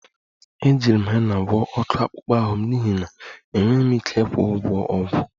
Ejiri m hena gwọọ ọkụ akpụkpọ ahụ m n'ihi na enweghị m ike ịkwụ ụgwọ ọgwụ